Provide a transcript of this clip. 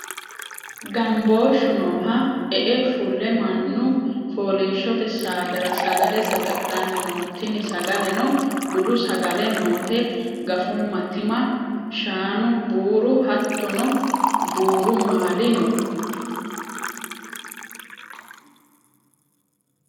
Gambooshu nooha e'e fulle mannu fooliishshote saatera sagale saga'lanni no tini sagaleno budu sagale noote gafuma tima shaanu buuru hattono buru maali no.